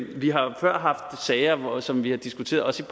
vi har før haft sager som vi har diskuteret også